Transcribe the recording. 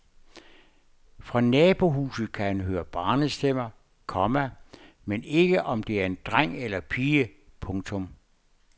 Fra nabohuset kan han høre en barnestemme, komma men ikke om det er en dreng eller pige. punktum